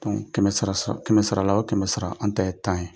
kɛmɛ sarala o kɛmɛ sara an ta ye tan ye,